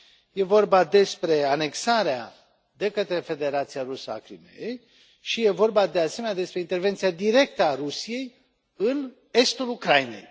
E vorba despre anexarea de către Federația Rusă a Crimeei și e vorba, de asemenea, despre intervenția directă a Rusiei în estul Ucrainei.